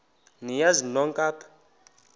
niyazi nonk apha